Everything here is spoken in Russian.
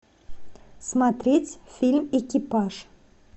смотреть фильм экипаж